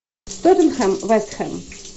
тоттенхэм вест хэм